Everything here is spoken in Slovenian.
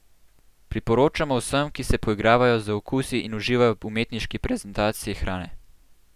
Priporočamo vsem, ki se poigravajo z okusi in uživajo v umetniški prezentaciji hrane!